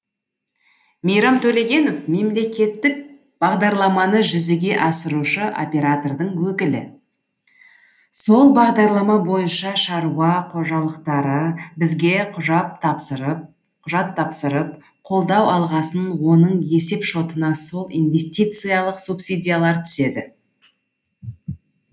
мейрам төлегенов мемлекеттік бағдарламаны жүзеге асырушы оператордың өкілі сол бағдарлама бойынша шаруа қожалықтары бізге құжат тапсырып қолдау алғасын оның есеп шотына сол инвестициялық субсидиялар түседі